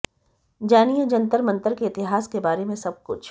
जानिए जंतर मंतर के इतिहास के बारे में सबकुछ